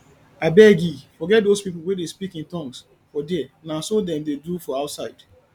abegii forget doz people wey dey speak in tongues for there na so dem dey do for outside